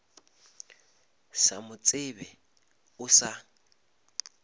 sa mo tsebe o sa